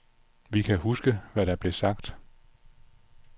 Vi kan huske, hvad der er blevet sagt.